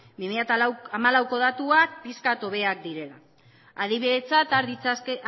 bi mila hamalaueko datuak pixka bat hobeak direla adibidetzat